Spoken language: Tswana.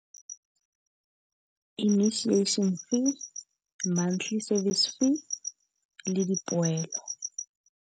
Initiation fee, monthly service fee le dipoelo.